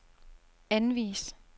anvis